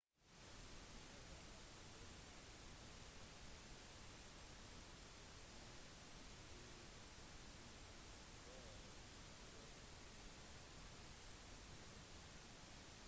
når de er på besøk i klostre er kvinner pålagt å gå i skjørt som dekker knærne og skuldrene